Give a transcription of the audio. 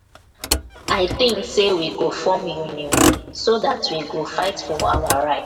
i think say we go form union so dat we go dat we go fight for our righs.